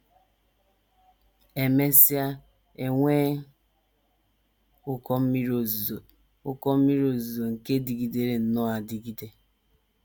E mesịa, e nwee ụkọ mmiri ozuzo, ụkọ mmiri ozuzo nke dịgidere nnọọ adigide.